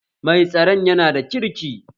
Mai tsaron yana da kirki